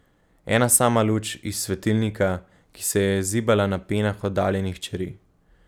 Ena sama luč, iz svetilnika, ki se je zibala na penah oddaljenih čeri.